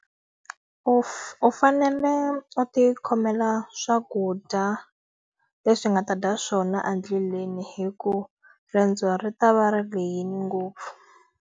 U u fanele u ti khomela swakudya leswi u nga ta dya swona endleleni hikuva riendzo ri ta va ri lehile ngopfu.